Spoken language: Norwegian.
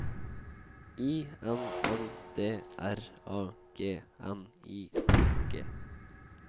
I N N D R A G N I N G